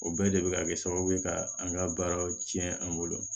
O bɛɛ de bɛ ka kɛ sababu ye ka an ka baaraw tiɲɛ an bolo